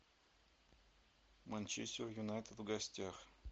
манчестер юнайтед в гостях